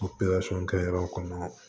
kɛ yɔrɔ kɔnɔ